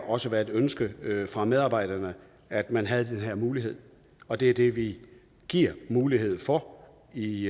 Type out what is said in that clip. også været et ønske fra medarbejderne at man havde den her mulighed og det er det vi giver mulighed for i